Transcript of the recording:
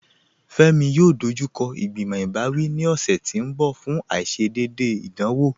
Fẹmi yóò dọjúkọ igbimọ̀ ibàwí ní ọṣẹ̀ tì n bọ̀ fún aìṣédéédé ìdánwọ̀.